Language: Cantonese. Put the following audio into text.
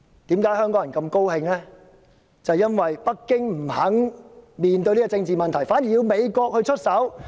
正是因為北京不願面對這個政治問題，反而要美國出手。